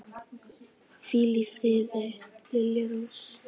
Hvíl í friði, Lilja Rós.